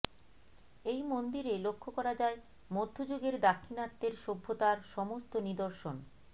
এই মন্দিরে লক্ষ্য করা যায় মধ্যযুগের দাক্ষিণাত্যের সভ্যতার সমস্ত নিদর্শণ